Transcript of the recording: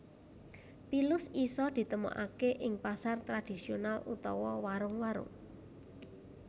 Pilus isa ditemokake ing pasar tradhisional utawa warung warung